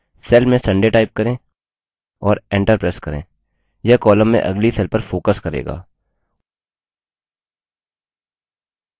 cell में sunday type करें और enter press करें यह column में अगली cell पर focus करेगा